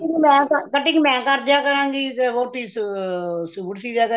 ਮੈਂ ਤਾਂ cutting ਮੈਂ ਕਰਦਿਆਂ ਕਰਾਗੀ ਸੂਟ ਤੇ ਹੋਰ ਤੁਸੀਂ ਸੂਟ ਸੀ ਦਿਆ ਕਰੇਗੀ